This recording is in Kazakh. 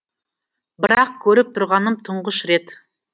бірақ көріп тұрғаным тұңғыш рет